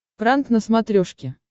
пранк на смотрешке